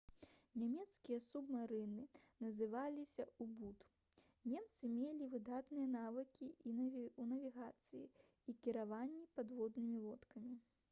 нямецкія субмарыны называліся «у-бут». немцы мелі выдатныя навыкі ў навігацыі і кіраванні падводнымі лодкамі